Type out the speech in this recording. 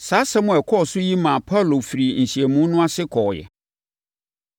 Saa nsɛm a ɛkɔɔ so yi maa Paulo firii nhyiamu no ase hɔ kɔeɛ.